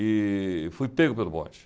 E fui pego pelo bonde.